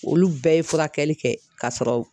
Olu bɛɛ ye furakɛli kɛ ka sɔrɔ